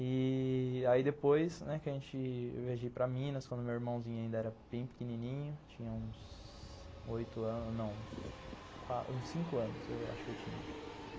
E... aí depois que a gente viajou para Minas, quando meu irmãozinho ainda era bem pequenininho, tinha uns oito anos, não, uns cinco anos eu acho que eu tinha.